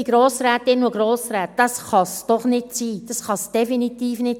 Liebe Grossrätinnen und Grossräte, das kann es doch nicht sein, definitiv nicht!